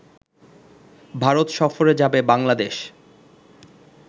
ভারত সফরে যাবে বাংলাদেশ